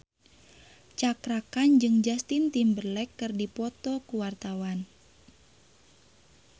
Cakra Khan jeung Justin Timberlake keur dipoto ku wartawan